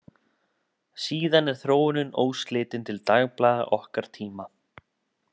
Síðan er þróunin óslitin til dagblaða okkar tíma.